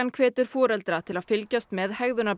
hvetur foreldra til að fylgjast með